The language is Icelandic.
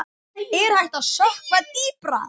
Er hægt að sökkva dýpra?